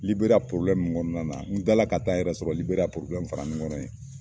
Liberiya kɔnɔna na n kila la ka taa n yɛrɛ sɔrɔ Liberiya fara in kɔnɔ yen.